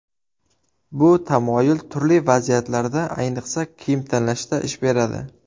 Bu tamoyil turli vaziyatlarda, ayniqsa kiyim tanlashda ish beradi.